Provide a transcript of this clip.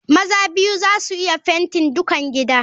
Maza biyu za su iya fenti dukan gidan.